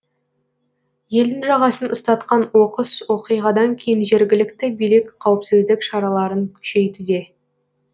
елдің жағасын ұстатқан оқыс оқиғадан кейін жергілікті билік қауіпсіздік шараларын күшейтуде